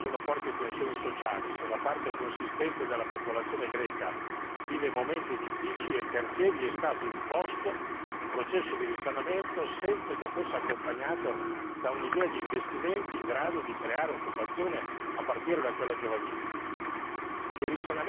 Se nel suo paese oggi ci sono forti tensioni sociali, se una parte consistente della popolazione greca vive momenti difficili, è perché vi è stato imposto un processo di risanamento senza che fosse accompagnato da un'idea di investimenti in grado di creare occupazione a partire da quella giovanile.